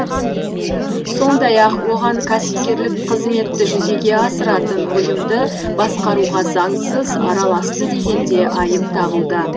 сондай ақ оған кәсіпкерлік қызметті жүзеге асыратын ұйымды басқаруға заңсыз араласты деген де айып тағылды